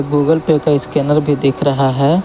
Google Pay का scanner भी देख रहा है।